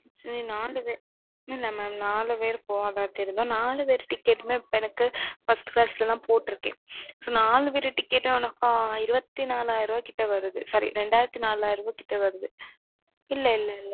இல்ல மாம் நாலு பெரு போக இருந்தோம். நாலு பெரு TIcket First Class ல தான் போட்ருக்கேன். நாலு பெரு TIcket இருபத்தி நாலாயிர ரூபாய் கிட்ட வருது Sorry ரெண்டாயிரத்தி நாலாயிர ரூபாய் கிட்ட வருது